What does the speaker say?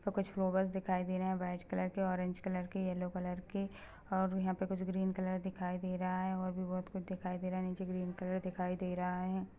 पर कुछ फ्लावर्स दिखाई दे रहे है वाइट कलर के ऑरेंज कलर के येलो कलर के और यहाँ पर कुछ ग्रीन कलर दिखाई दे रहा है और भी बहोत कुछ दिखाई दे रहा है नीचे ग्रीन कलर दिखाई दे रहा है।